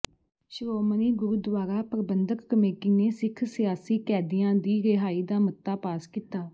Shiromani Gurdwara Parbandhak committee ਨੇ ਸਿੱਖ ਸਿਆਸੀ ਕੈਦੀਆਂ ਦੀ ਰਿਹਾਈ ਦਾ ਮਤਾ ਪਾਸ ਕੀਤਾ